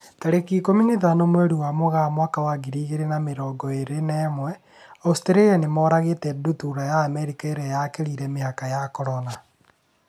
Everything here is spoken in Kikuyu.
Tarĩki ikũmi na ithano mweri wa Mũgaa mwaka wa ngiri igĩrĩ na mĩrongo ĩrĩ na ĩmwe, Australia nĩmoragĩte ndutura ya Amerika na ĩrĩa yakĩrire mĩhaka ya Corona.